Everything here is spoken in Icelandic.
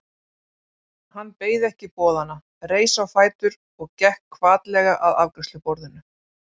Hann beið ekki boðanna, reis á fætur og gekk hvatlega að afgreiðsluborðinu.